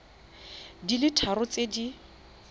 di le tharo tse di